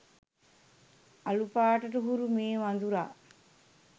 අළු පාටට හුරු මේ වඳුරා